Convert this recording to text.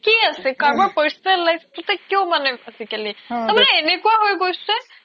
কি আছে কাৰোবাৰ personal life তোতে কিও মানে আজিকালি তাৰ মানে এনেকুৱা হৈ গেছে